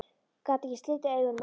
Gat ekki slitið augun af honum.